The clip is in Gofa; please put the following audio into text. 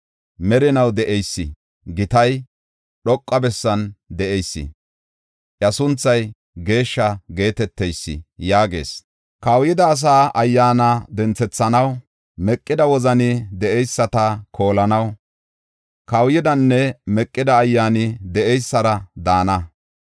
Merinaw de7eysi, gitay, dhoqa bessan de7eysi, iya sunthay Geeshsha geeteteysi, yaagees: “Kawuyida asaa ayyaana denthethanaw, meqida wozani de7eyisata koolanaw, kawuyidanne meqida ayyaani de7eysara daana.